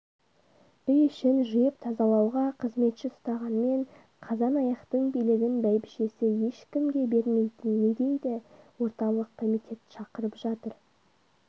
үй ішін жиып-тазалауға қызметші ұстағанмен қазан-аяқтың билігін бәйбшесі ешкімге бермейтін не дейді орталық комитет шақырып жатыр